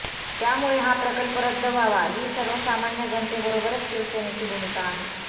त्यामुळे हा प्रकल्प रद्द व्हावा ही सर्वसामान्य जनतेबरोबरच शिवसेनेची भूमिका आहे